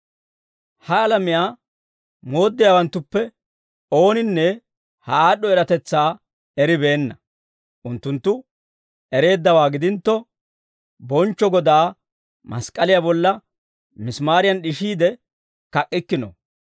Ha alamiyaa mooddiyaawanttuppe ooninne ha aad'd'o eratetsaa eribeenna. Unttunttu ereeddawaa gidintto, bonchcho Godaa mask'k'aliyaa bolla misimaariyan d'ishiide kak'k'ikkino.